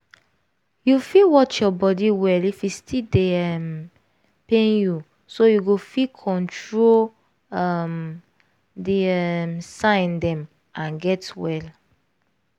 you fit watch your body well if e still dey um pain youso you go fit control um the um sign dem and get well